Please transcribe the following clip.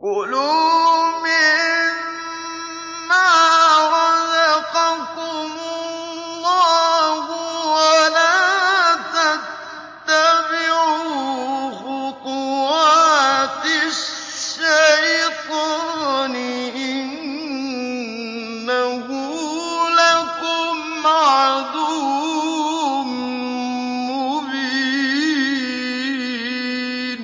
كُلُوا مِمَّا رَزَقَكُمُ اللَّهُ وَلَا تَتَّبِعُوا خُطُوَاتِ الشَّيْطَانِ ۚ إِنَّهُ لَكُمْ عَدُوٌّ مُّبِينٌ